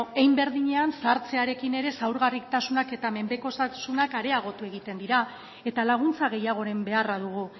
hein berdinean zahartzearekin ere zaurgarritasunak eta menpekotasunak areagotu egiten dira eta laguntza gehiagoren beharra dugu